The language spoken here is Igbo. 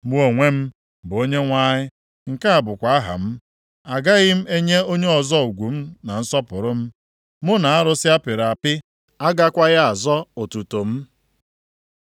“Mụ onwe m bụ Onyenwe anyị! Nke a bụkwa aha m. Agaghị m enye onye ọzọ ugwu na nsọpụrụ m. Mụ na arụsị a pịrị apị agakwaghị azọ otuto m.